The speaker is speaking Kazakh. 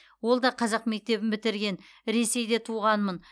ол да қазақ мектебін бітірген ресейде туғанмын